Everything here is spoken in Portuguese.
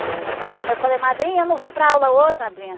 Eh... Aí eu falei, madrinha, eu não vou para aula hoje, madrinha.